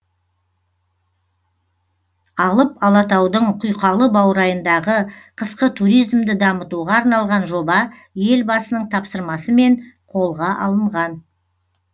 алып алатаудың құйқалы баурайындағы қысқы туризмді дамытуға арналған жоба елбасының тапсырмасымен қолға алынған